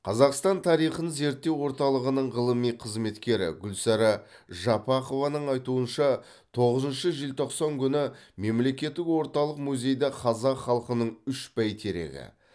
қазақстан тарихын зерттеу орталығының ғылыми қызметкері гүлсара жапақованың айтуынша тоғызыншы желтоқсан күні мемлекеттік орталық музейде қазақ халықының үш бәйтерегі